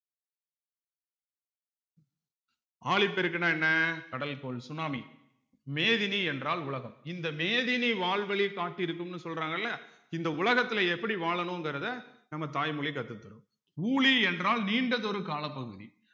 ஆழிப்பெருக்குன்னா என்ன கடல் போல் சுனாமி மேதினி என்றால் உலகம் இந்த மேதினி வாழ்வழி காட்டி இருக்கும்னு சொல்றாங்கல்ல இந்த உலகத்துல எப்படி வாழணும்கிறத நம்ம தாய்மொழி கத்து தரும் ஊழி என்றால் நீண்டதொரு காலப்பகுதி